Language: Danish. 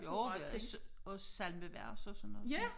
Jo vi havde også også samlevers og sådan noget som